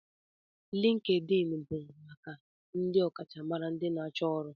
LinkedIn bụ maka ndị ọkachamara na ndị na-achọ ọrụ.